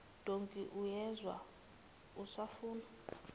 dankie uyezwa usafuna